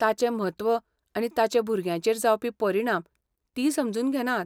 ताचें म्हत्व आनी ताचे भुरग्यांचेर जावपी परिणाम तीं समजून घेनात.